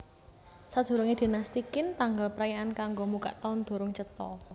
Sadurungé Dinasti Qin tanggal prayaan kanggo mbukak taun durung cetha